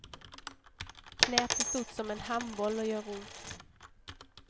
Knät är stort som en handboll och gör ont.